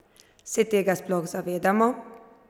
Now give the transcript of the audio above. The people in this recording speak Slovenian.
Se tega sploh zavedamo?